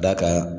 Da kan